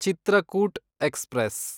Chitrakoot express